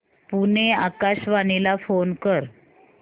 पुणे आकाशवाणीला फोन कर